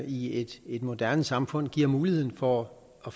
i et moderne samfund giver mulighed for at